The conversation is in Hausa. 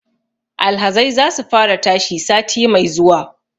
Alhazai za su fara tashi sati mai zuwa